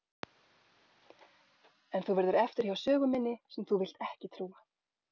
En þú verður eftir hjá sögu minni sem þú vilt ekki trúa.